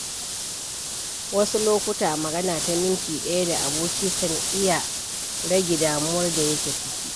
Wasu lokuta, magana ta minti ɗaya da aboki kan iya rage damuwar da yake ciki.